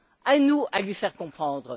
À nous de lui faire comprendre.